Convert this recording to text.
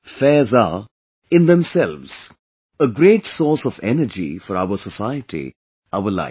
Fairs are, in themselves, a great source of energy for our society, our life